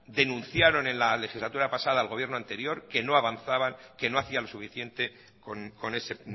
denunciaron en la legislatura pasada al gobierno anterior que no avanzaba que no hacía lo suficiente con ese